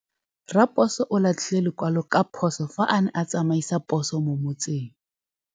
Raposo o latlhie lekwalô ka phosô fa a ne a tsamaisa poso mo motseng.